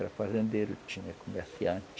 Era fazendeiro, tinha comerciante.